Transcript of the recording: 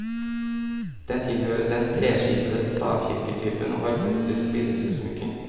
Den tilhører den treskipete stavkirketypen og har gotisk billedutsmykning.